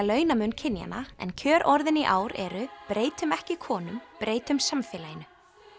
launamun kynjanna en kjörorðin í ár eru breytum ekki konum breytum samfélaginu